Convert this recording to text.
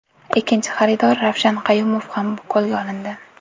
Ikkinchi xaridor Ravshan Qayumov ham qo‘lga olindi.